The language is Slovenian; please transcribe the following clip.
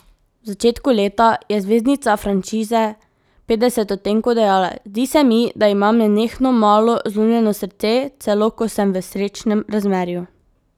V začetku leta je zvezdnica franšize Petdeset odtenkov dejala: "Zdi se mi, da imam nenehno malo zlomljeno srce, celo ko sem v srečnem razmerju.